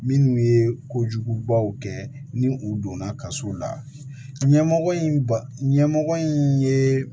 Minnu ye ko jugubaw kɛ ni u donna kaso la ɲɛmɔgɔ in ba ɲɛmɔgɔ in ye